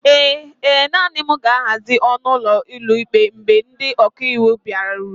ee, naanị m ga-ahazi ọnụ ụlọ ụlọikpe mgbe ndị ọka iwu bịarutere